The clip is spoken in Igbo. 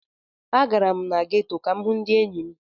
Agara m na geto ka m hụ ndị enyi m.